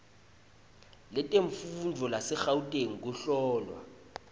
letemfundvo lasegauteng kuhlolwa